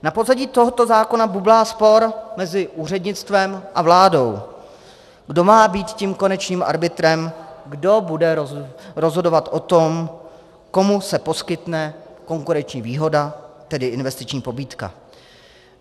Na pozadí tohoto zákona bublá spor mezi úřednictvem a vládou - kdo má být tím konečným arbitrem, kdo bude rozhodovat o tom, komu se poskytne konkurenční výhoda, tedy investiční pobídka.